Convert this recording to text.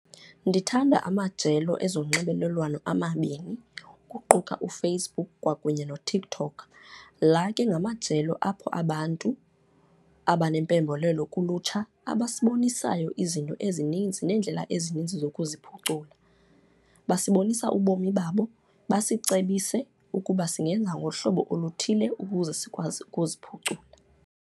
Ndithanda amajelo ezonxibelelwano amabini, ukuquka uFacebook kwakunye noTikTok. La ke ngamajelo apho abantu abanempembelelo kulutsha abasibonisayo izinto ezininzi nendlela ezininzi zokuziphucula. Basibonisa ubomi babo, basicebise ukuba singenza ngohlobo oluthile ukuze sikwazi ukuziphucula.